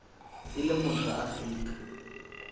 e leng motho wa afrika